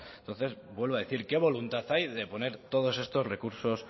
entonces vuelvo a decir qué voluntad hay de poner todos estos recursos